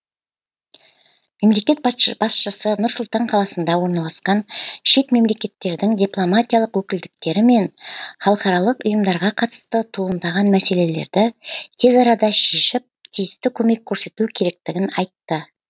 мемлекет басшысы нұр сұлтан қаласында орналасқан шет мемлекеттердің дипломатиялық өкілдіктері мен халықаралық ұйымдарға қатысты туындаған мәселелерді тез арада шешіп тиісті көмек көрсету керектігін айтты